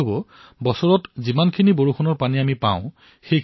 পানী নোহোৱাৰ ফলত দেশৰ বহু অংশ প্ৰতিবছৰে আক্ৰান্ত হয়